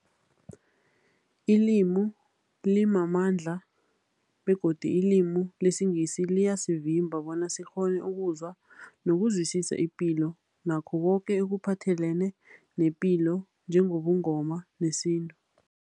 Ilimi limamandla begodu ilimi lesiNgisi liyasivimba bona sikghone ukuzwa nokuzwisisa ipilo nakho koke ekuphathelene nepilo njengobuNgoma nesintu.